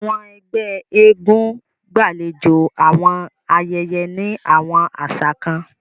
Awọn ẹgbẹ èègún gbalejo awọn ayẹyẹ ni awọn aṣa kan.